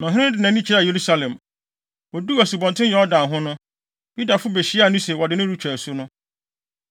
Na ɔhene no de nʼani kyerɛɛ Yerusalem. Oduu Asubɔnten Yordan ho no, Yudafo behyiaa no sɛ wɔde no retwa asu no.